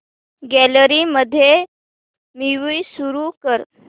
gallery मध्ये movie सुरू कर